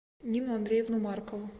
нину андреевну маркову